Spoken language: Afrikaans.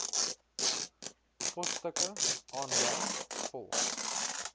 posstukke aanlyn volg